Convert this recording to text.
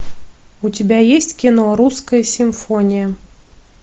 у тебя есть кино русская симфония